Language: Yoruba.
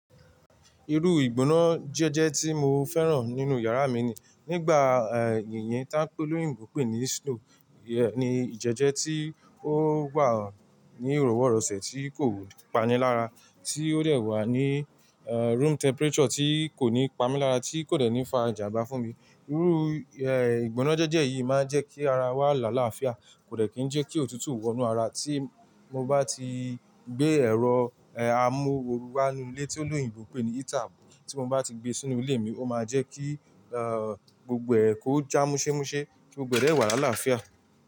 Irú ìgbóná jẹ́jẹ́ tí mo fẹ́ràn nínú yàrá mi ni nígbà, eh, yìnyín tí olóyìnbo pè ní snow, ni ìjẹ́jẹ́ tí ó wa ní ìrọwọ́rọsẹ̀ tí kò panilára tí ó dè wà ní, eh, room temperature tí kò ní pamílára tí kò dẹ̀ ní fa ijànbá fún mi. Irú, eh, ìgbóná jẹ́jẹ́ yìí máa ń jẹ́ kí ara wa là láfià, kò dẹ̀ kí ń jẹ́ kí òtútù wọ́nú ara tí mo bá ti gbé ẹ̀rọ, eh, amu oru wa nínú ilé tí olóyìnbo pè ní heater, tí mo bá ti gbé sínú ilé mi, ó máa jẹ́ kí, eh, gbogbo ẹ̀ kò já múṣémúṣe kí gbọdọ̀ ẹ de wà là láfià.